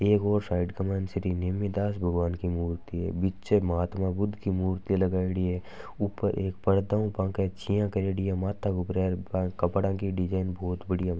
एक ओर साइड क माइन श्री नेमीदास भगवान की मूर्ति है। बीच महात्मा बुद्ध की मूर्ति लगायेडी है। ऊपर बाक एक परदा ऊ छाया करेड़ी हैं। माथा क उपर कपड़ा की डिजायन बहुत बाडिया बनायेडी हैं।